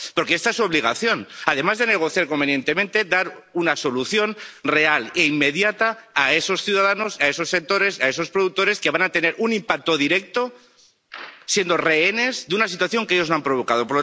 Porque esa es su obligación, además de negociar convenientemente, dar una solución real e inmediata a esos ciudadanos, a esos sectores, a esos productores que van a tener un impacto directo, siendo rehenes de una situación que ellos no han provocado.